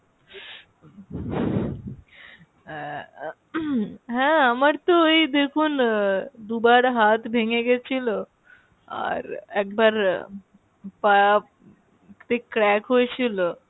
আহ উম হ্যাঁ আমার তো এই দেখুন আহ দুবার হাত ভেঙে গেছিলো, আর একবার পাতে crack হয়েছিলো,